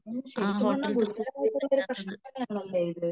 ശെരിക്കും പറഞ്ഞ ഗുരുതരമായിട്ടുള്ള പ്രെശ്നം തന്നെ ആണല്ലേ ഇത്